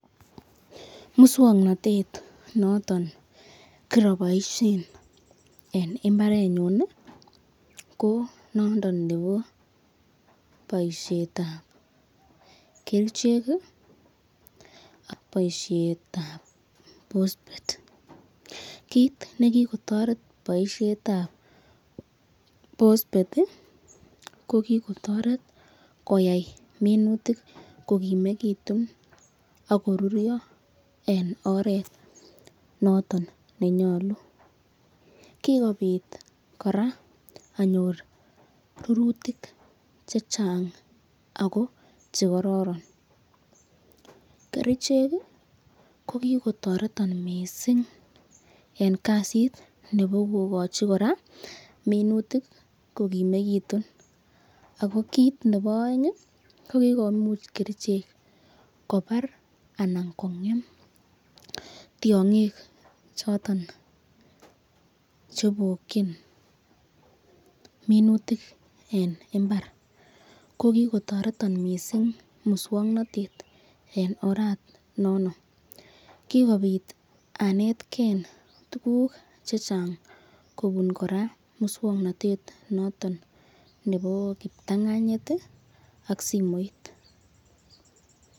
Muswoknatet noton kiroboishen en mbarenyun ko nondo nebo boisiet ab kerichek ak boisiet ab bosbet. Kit nekikotoret boisiet ab bosbet ko kigotoret koyai minutik kogimegitun ak koruryo en oret noton nenyolu. Kigobit kora anyor rurutik che chang ago che kororon. Kerichek ko kigotoreton mising en kasit nebo kogochi kora minutiik kogimegitun. Ago kit nebo oeng, ko kigomuch kerichek kobar anan komian tiong'ik choton che ibokin minutik en mbar. Ko kigotoreton mising muswokanatet en oranono. Kigobit anetkei tuguk che chang kobun kora muswokanatet noton nebo kiptanganyit ak simoit.